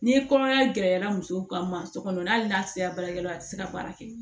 Ni kɔnɔya gɛlɛyara muso kan muso kɔnɔ hali n'a sera baarakɛlaw ma a te se ka baara kɛ